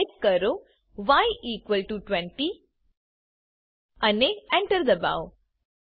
હવે ટાઈપ કરો y equal to 20 અને Enter દબાઓ